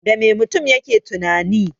Dame mutum yake tunani?